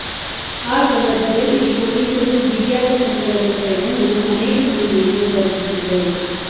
ಆ ಸಂದರ್ಭದಲ್ಲಿ ಪೊಲೀಸರೂ ಬಿಗಿಯಾದ ಕ್ರಮಗಳನ್ನು ಕೈಗೊಂಡು ಅನೇಕ ಮಂದಿಯನ್ನು ಬಂಧಿಸಿದ್ದರು